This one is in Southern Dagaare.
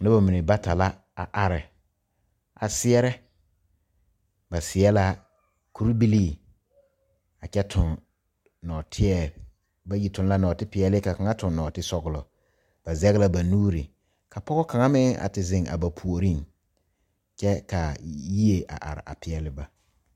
Nobɔ mine bata la a are a seɛɛrɛ ba seɛ la kurebilii a kyɛ tuŋ nɔɔteɛ bayi tuŋ la nɔɔtepɛeele ka kaŋa tuŋ nɔɔtesɔglɔ ba zege la ba nuure ka pɔg kaŋa meŋ a te zeŋ a ba puoriŋ kyɛ kaa yie a are a peɛɛle ba.